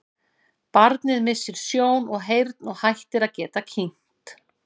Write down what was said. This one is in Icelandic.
Barnið missir sjón og heyrn og hættir að geta kyngt.